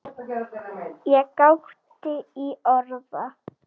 Ég gáði í orða